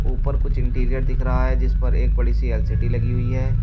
ऊपर कुछ इंटीरियर दिख रहा है जिस पर एक बड़ी सी एल_सी_डी लगी हुई है।